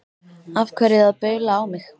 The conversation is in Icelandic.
Af hverju að baula á mig?